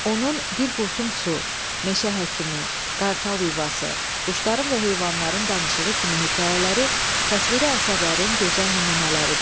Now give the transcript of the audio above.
Onun "Bir qurtum su", "Meşə həkimi", "Qartal yuvası", "Quşların və heyvanların danışığı" kimi hekayələri təsviri əsərlərin gözəl nümunələridir.